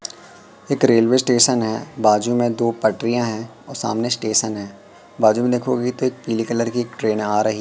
एक railway station है बाजू में दो पटरियां है और सामने स्टेशन है बाजू में लिखोगे तो एक पीले कलर की एक ट्रेन आ रही--